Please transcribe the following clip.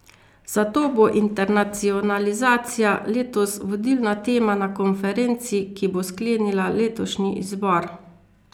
Zato bo internacionalizacija letos vodilna tema na konferenci, ki bo sklenila letošnji izbor.